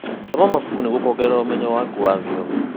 Thoma mabuku nĩguo kuongerera ũmenyo waku wa thiomi.